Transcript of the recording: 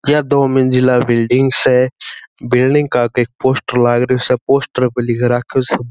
ये दो मंजिला बिल्डिंग स बिल्डिंग का एक पोस्टर लागरो स पोस्टर पे लिख राखियो स।